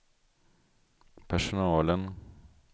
personalen